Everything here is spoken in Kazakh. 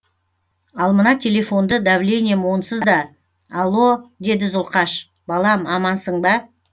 ал мына телефонды давлением онсыз да алло деді зұлқаш балам амансың ба